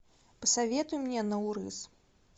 посоветуй мне наурыз